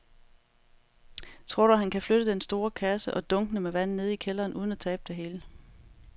Tror du, at han kan flytte den store kasse og dunkene med vand ned i kælderen uden at tabe det hele?